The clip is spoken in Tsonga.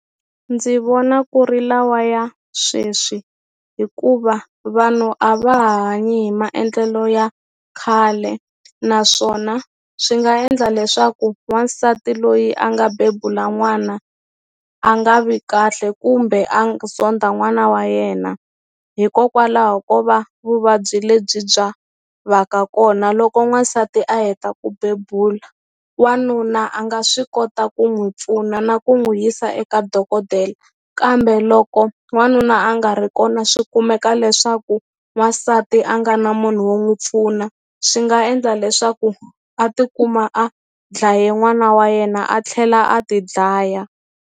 Ndzi vona ku ri lawa ya sweswi hikuva vanhu a va hanyi hi maendlelo ya khale naswona swi nga endla leswaku wansati loyi a nga bebula n'wana a nga vi kahle kumbe zonda n'wana wa yena hikokwalaho ko va vuvabyi lebyi bya va ka kona loko n'wansati a heta ku bebula wanuna a nga swi kota ku n'wi pfuna na ku n'wi yisa eka dokodela kambe loko n'wanuna a nga ri kona swikumeka leswaku n'wansati a nga na munhu wo n'wu pfuna swi nga endla leswaku a tikuma a dlaye n'wana wa yena a tlhela a ti dlaya.